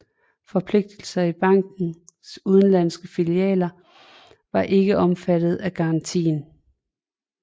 Forpligtelser i bankenes udenlandske filialer var ikke omfattet af garantien